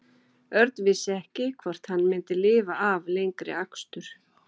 Örn vissi ekki hvort hann myndi lifa af lengri akstur.